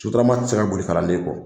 Sotrama tɛ ka boli kalan den kɔ.